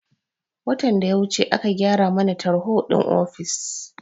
Watan da ya wuce aka gyara mana tarho din ofis